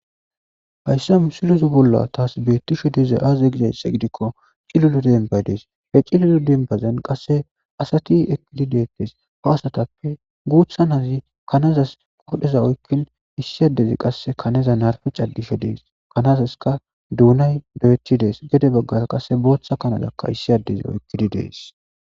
Haysa mesileza bolla tasi betishe dizay aze gizaysa gidikon cilila dembayi desi, he cilila demibazani asati eqidi detesi, ha asatappe guutha Nazi kanazasi qodheza oykin issi adezi qase kanaza narpe cadishe Desi, kanazaska duunayi diyeti Desi,gede bagaraka bootha kana issi adezi oykidi de'es.